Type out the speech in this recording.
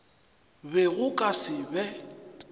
be go ka se be